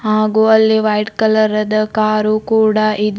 ಹಾಗು ಅಲ್ಲಿ ವೈಟ್ ಕಲರದ ಕಾರು ಕೂಡ ಇದೆ.